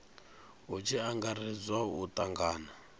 hu tshi angaredzwa u tangana